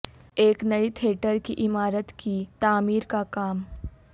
ایک نئی تھیٹر کی عمارت کی تعمیر کا کام